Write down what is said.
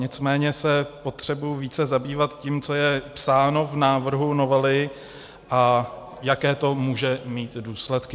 Nicméně se potřebuji více zabývat tím, co je psáno v návrhu novely a jaké to může mít důsledky.